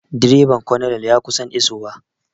Direban colonel ya kusan iso wa